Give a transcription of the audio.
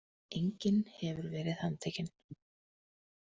Enginn hefur verið handtekinn.